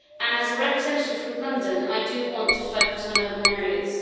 As a representative from London, I do want to focus on urban areas.